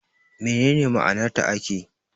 Me ne ne ma'anar taake?